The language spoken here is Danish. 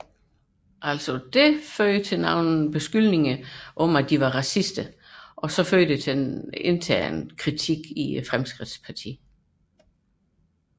Det førte til beskyldninger om racisme og førte til intern kritik i Fremskridtspartiet